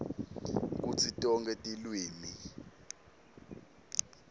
kutsi tonkhe tilwimi